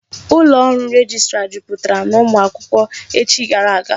Ụlọ ọrụ rejistra jupụtara n'ụmụ akwụkwọ echi gara aga.